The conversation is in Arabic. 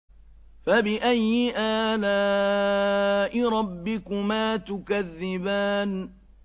فَبِأَيِّ آلَاءِ رَبِّكُمَا تُكَذِّبَانِ